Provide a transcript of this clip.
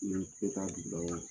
N'i tɛ ta dugu la wa ?